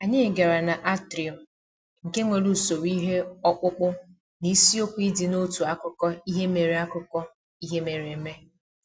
Anyị gara na atrium, nke nwere usoro ihe ọkpụkpụ na isiokwu ịdị n'otu akụkọ ihe mere akụkọ ihe mere eme